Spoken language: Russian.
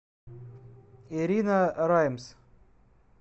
ирина раймс